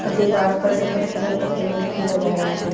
व दीवारो पर सफेद कलर का पेंट किया गया है।